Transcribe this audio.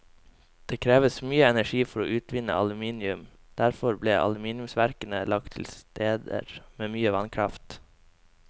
Det kreves mye energi for å utvinne aluminium, og derfor ble aluminiumsverkene lagt til steder med mye vannkraft.